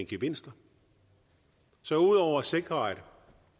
gevinster så ud over at sikre at